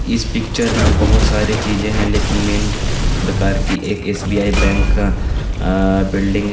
इस पिक्चर मे बहोत सारी चीज़े है लेकिन मेन प्रकार की एक एस_बी_आई बैंक का बिल्डिंग है.